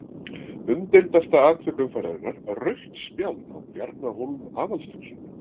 Umdeildasta atvik umferðarinnar: Rautt spjald á Bjarna Hólm Aðalsteinsson?